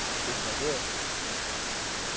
interesseret